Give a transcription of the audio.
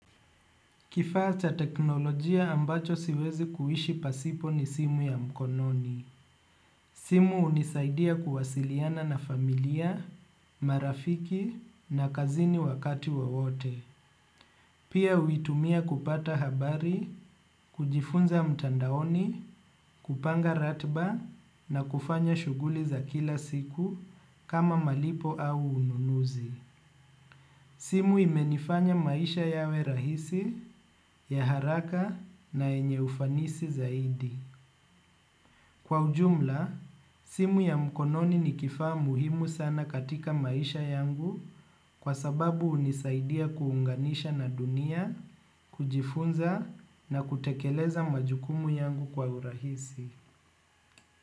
Kifaa cha teknolojia ambacho siwezi kuishi pasipo ni simu ya mkononi. Simu hunisaidia kuwasiliana na familia, marafiki na kazini wakati wowote. Pia huitumia kupata habari, kujifunza mtandaoni, kupanga ratiba na kufanya shughuli za kila siku kama malipo au ununuzi. Simu imenifanya maisha yawe rahisi ya haraka na yenye ufanisi zaidi. Kwa ujumla, simu ya mkononi ni kifaa muhimu sana katika maisha yangu kwa sababu hunisaidia kuunganisha na dunia, kujifunza na kutekeleza majukumu yangu kwa urahisi.